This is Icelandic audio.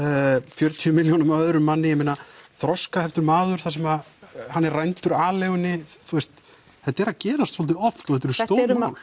fjörutíu milljónum af öðrum manni ég meina þroskaheftur maður þar sem hann er rændur aleigunni þetta er að gerast svolítið oft og þetta eru stór mál